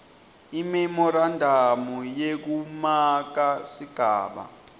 imemorandamu yekumaka sigaba